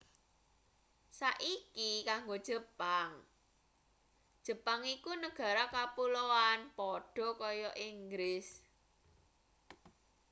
saiki kanggo jepang jepang iku negara kapuloan padha kaya inggris